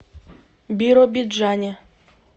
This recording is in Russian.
биробиджане